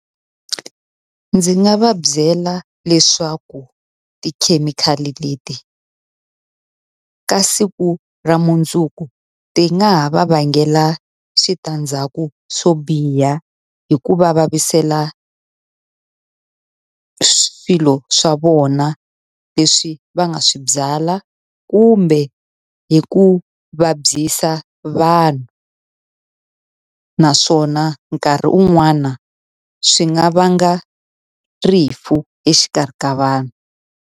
Ndzi nga va byela leswaku tikhemikhali leti ka siku ra mundzuku ti nga ha va vangela switandzhaku swo biha. Hi ku va vaviseka swilo swa vona leswi va nga swi byala kumbe hi ku vabyisa vanhu. Naswona nkarhi un'wana swi nga vanga rifu exikarhi ka vanhu.